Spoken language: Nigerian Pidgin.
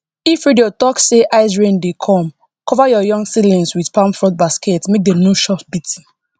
if radio talk say icerain dey come cover your young seedling with palm frond basket make dem no chop beating